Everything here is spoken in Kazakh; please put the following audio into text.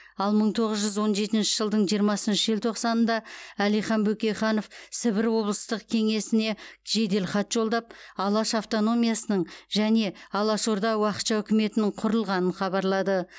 ал мың тоғыз жүз он жетінші жылдың жиырмасыншы желтоқсанында әлихан бөкейханов сібір облыстық кеңесіне жеделхат жолдап алаш автономиясының және алаш орда уақытша үкіметінің құрылғанын хабарлады